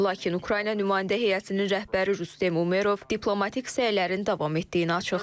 Lakin Ukrayna nümayəndə heyətinin rəhbəri Rustem Umerov diplomatik səylərin davam etdiyini açıqlayıb.